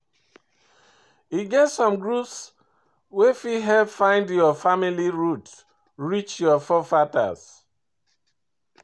E get some groups wey fit help find your family root reach your forefathers